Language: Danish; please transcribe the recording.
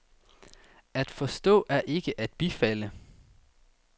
At forstå er ikke at bifalde.